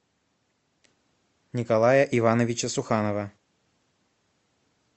николая ивановича суханова